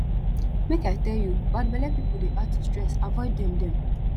make i tell you bad belle pipu dey add to stress avoid dem dem